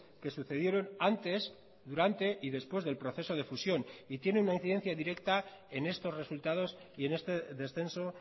que sucedieron antes durante y después del proceso de fusión y tiene una incidencia directa en estos resultados y en este descenso